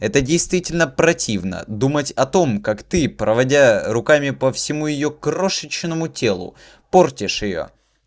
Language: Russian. это действительно противно думать о том как ты проводя руками по всему её крошечному телу портишь её